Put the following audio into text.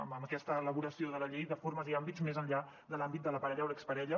en aquesta elaboració de la llei de formes i àmbits més enllà de l’àmbit de la parella o l’exparella